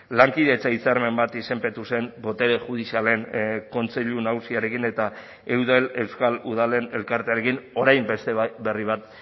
lankidetza hitzarmen bat izenpetu zen botere judizialen kontseilu nagusiarekin eta eudel euskal udalen elkartearekin orain beste bat berri bat